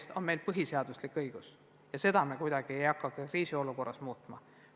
See on meil põhiseaduslik õigus ja seda ei hakka me kriisiolukorras muutma.